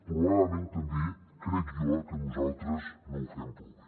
probablement també crec jo que nosaltres no ho fem prou bé